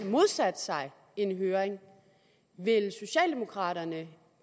modsat sig en høring vil socialdemokraterne